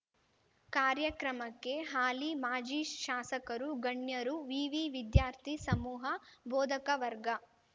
ಕಾರ್ಯಕ್ರಮಕ್ಕೆ ಹಾಲಿ ಮಾಜಿ ಶಾಸಕರು ಗಣ್ಯರು ವಿವಿ ವಿದ್ಯಾರ್ಥಿ ಸಮೂಹ ಬೋಧಕ ವರ್ಗ